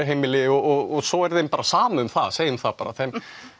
og svo er þeim bara sama um það segjum það bara